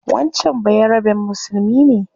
Wancan bayaraben musulmi ne